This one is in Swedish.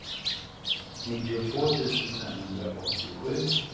nittiotvå tusen femhundraåttiosju